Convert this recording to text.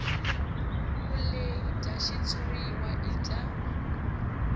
vulehi bya xitshuriwa i bya